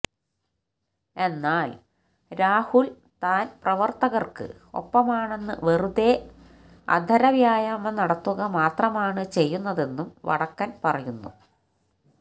എന്നാൽ രാഹുൽ താൻ പ്രവർത്തകർക്ക് ഒപ്പമാണെന്ന് വെറുതെ അധരവ്യായമം നടത്തുക മാത്രമാണ് ചെയ്യുന്നതെന്നും വടക്കൻ പറയുന്നു